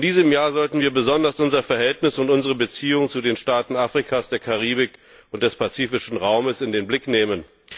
In diesem Jahr sollten wir besonders unser Verhältnis und unsere Beziehung zu den Staaten Afrikas, der Karibik und des Pazifischen Raumes in den Blick nehmen.